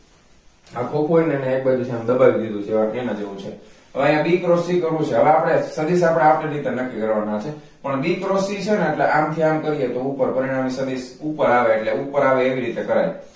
આ ખોખું હોય ને એને એક બાજુથી દબાવી દીધું છે તેના જેવું છે હવે અહીંયા b cross c કરવું છે હવે આપણે સદિશ આપણે આપણી રીતે નક્કી કરવા ના છે પણ b cross c છે ને એટલે આમથી આમ કરીને તો ઉપર એટલે પરિણમી સદિસ ઉપર એટલે ઉપર આવે એવી રીતે કરાય